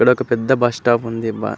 ఇక్కడ ఒక్క పెద్ద బస్సు స్టాప్ ఉంది.